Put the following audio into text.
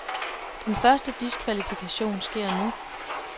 Den første diskvalifikation sker nu.